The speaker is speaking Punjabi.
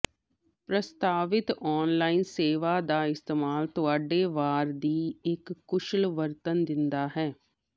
ਪ੍ਰਸਤਾਵਿਤ ਆਨਲਾਈਨ ਸੇਵਾ ਦਾ ਇਸਤੇਮਾਲ ਤੁਹਾਡੇ ਵਾਰ ਦੀ ਇੱਕ ਕੁਸ਼ਲ ਵਰਤਣ ਦਿੰਦਾ ਹੈ